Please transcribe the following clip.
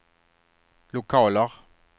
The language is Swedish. lokaler